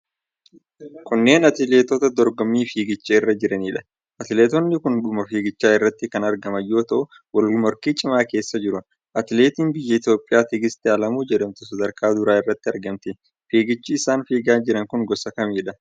Kunneen atileetota dorgommii fiigichaa irra jiranidha. Atileetonni kun dhuma fiigichaa irratti kan argaman yoo ta'u, wal morkii cimaa keessa jiru. Atileetiin biyya Itoophiyaa Tigist Alamuu jedhamtu sadarkaa duraa irratti argamti. Fiigichi isaan fiigaa jiran kun gosa kamidha?